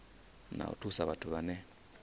na u thusa vhathu vhane